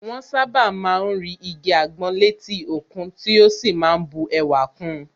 Wọ́n sàbá má ń rí igi àgbọn létí òkun tí ó sì má ń bu ẹwà kun